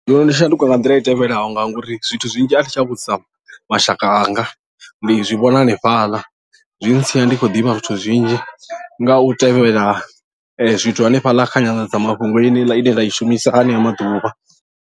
Ndono ndi shanduka nga nḓila i tevhelaho ngauri zwithu zwinzhi a thitsha vhudzisa mashaka anga ndi zwi vhona hanefhaḽa zwi ntsia ndi khou ḓivha zwithu zwinzhi nga u tevhela zwithu hanefhaḽa kha nyandadzamafhungo yeneiḽa ine nda i shumisa hanea maḓuvha.